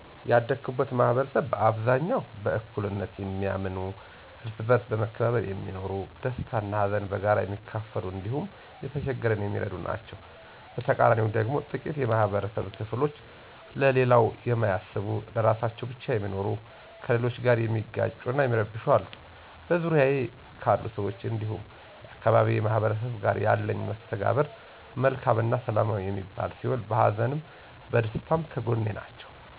ያደኩበት ማህበረሰብ በአብዛኛው በእኩልነት የሚያምኑ፣ እርስ በእርስ በመከባበር የሚኖሩ፣ ደስታን እና ሀዘንን በጋራ የሚካፈሉ እንዲሁም የተቸገረን የሚረዱ ናቸዉ። በተቃራኒው ደግሞ ጥቂት የማህበረብ ክፍሎች ለሌላው የማያስቡ ለራሳቸው ብቻ የሚኖሩ፣ ከሌሎች ጋር የሚጋጩ እና የሚረብሹ አሉ። በዙሪያዬ ካሉ ሰዎች እንዲሁም የአካባቢዬ ማህበረሰቦች ጋር ያለኝ መስተጋብር መልካም እና ሰላማዊ የሚባል ሲሆን በሀዘንም በደስታም ከጐኔ ናቸው።